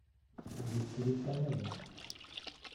викторе панове